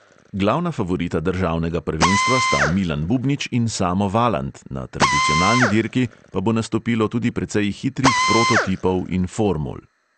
Glavna favorita državnega prvenstva sta milan bubnič in samo valant, na tradicionalni dirki pa bo nastopilo tudi precej hitrih prototipov in formul.